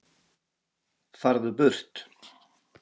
FARÐU BURT